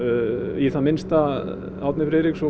í það minnsta Árni Friðriksson